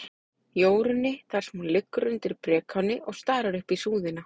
Jórunni, þar sem hún liggur undir brekáni og starir upp í súðina.